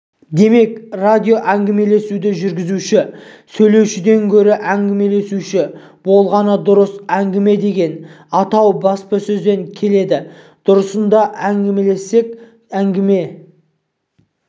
демек радиоәңгімелесуді жүргізуші сөйлеушіден гөрі әңгімелесуші болғаны дұрыс әңгіме деген атау баспасөзден келді дұрысына келсек әңгіме